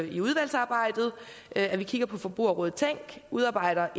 i udvalgsarbejdet at vi kigger på forbrugerrådet tænk og udarbejder